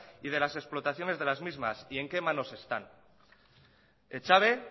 y de las explotaciones de las mismas y en qué manos están echave